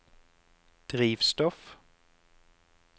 drivstoff